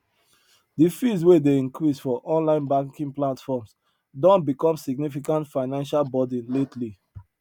de fees wey dey increase for online banking platforms don become significant financial burden lately